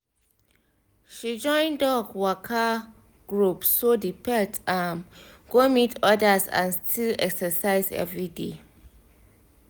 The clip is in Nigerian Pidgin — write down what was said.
she join dog waka group so the pet um go meet others and still exercise every day